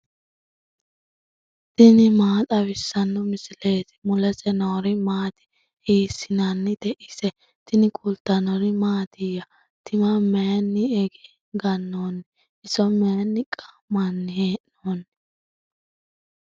tini maa xawissanno misileeti ? mulese noori maati ? hiissinannite ise ? tini kultannori mattiya? tima mayiinni ganoonni? iso mayiinni qaamanni hee'noonni?